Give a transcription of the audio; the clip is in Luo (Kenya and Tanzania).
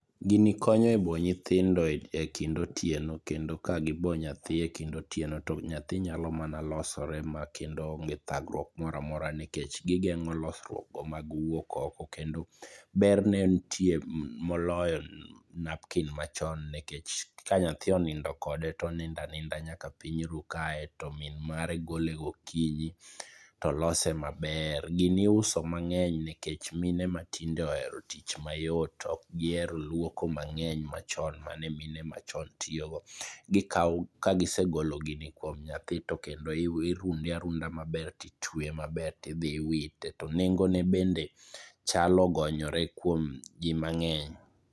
gini konyo e bo nyithindo e kind otieno kendo ka gi bo nyathi e kind otieno to nyathi nyalo mana losore maonge thagruok moro amora nikech gi gengo losruok go mag wuok oko kendo berne nitie moloyo napkin machon nikech ka nyathi onindo kode to onindo aninda nyaka piny ru kae to min mare golo gokinyi to lose maber ,gini isuo mang'eny nikech mine matinde ohero tich mayot ok gihero luoko mang'eny machon mane mine machon tiyo go, ka gisegolo gini kuom nyathi to kendo irunde arunda maber ti tweye maber tidhi iwite ,to nengo ne bedne chal ogonyore kuom ji mang'eny.